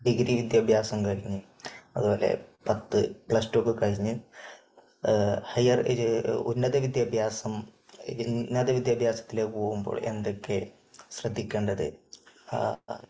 degree വിദ്യാഭ്യാസം കഴിഞ്ഞ്, അത്പോലെ പത്ത്, പ്ലസ് ടു ഒക്കെ കഴിഞ്ഞ് ഹയർ, ഉന്നത വിദ്യാഭ്യാസം, ഉന്നത വിദ്യാഭ്യാസത്തിലേക്ക് പോകുമ്പോൾ എന്തൊക്കെ ശ്രദ്ധിക്കേണ്ടത്